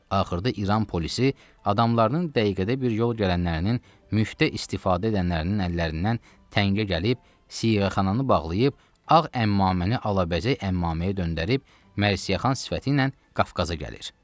Axırda İran polisi adamlarının dəqiqədə bir yol gələnlərinin müftə istifadə edənlərinin əllərindən təngə gəlib, siğəxananı bağlayıb, ağ əmmaməni alabəzək əmmaməyə döndərib, mərsiyəxan sifətiylə Qafqaza gəlir.